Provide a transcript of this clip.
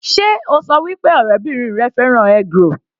Sé o ṣọ wí pé ọ̀rẹ́bìrin rẹ fẹ́ràn eggroll?